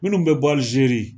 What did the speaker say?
Munnu be bɔ alizeri